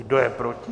Kdo je proti?